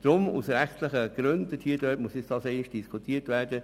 Deshalb muss dies aus rechtlichen Gründen nochmals diskutiert werden.